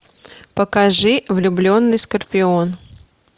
покажи влюбленный скорпион